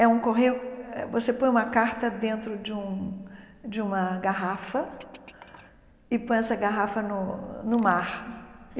É um correio, eh você põe uma carta dentro de um de uma garrafa e põe essa garrafa no no mar.